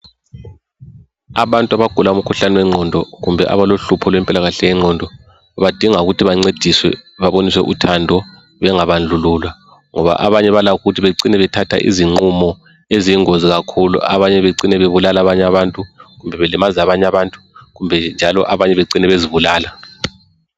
Abantu abagula ukhuhlane wengqondo kumbe abalohlupho lwempilkakahle yengqondo badinga ukuthi bancediswe babonise uthando bengabandlululwa ngoba abanye balakho ukuthi becina bethatha izinqumo eziyingozi kakhulu abanye becine bebulala abanye abantu kumbe belimaza abanye abantu kumbe njalo abanye bacine bezibulala.